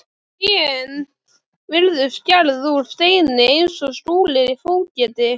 Trén virtust gerð úr steini eins og Skúli fógeti.